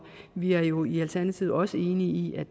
vi er jo i alternativet også enige i